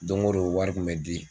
Dongondon wari kun bɛ di.